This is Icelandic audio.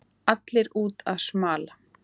Allir úti að smala